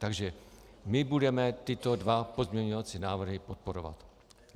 Takže my budeme tyto dva pozměňovací návrhy podporovat.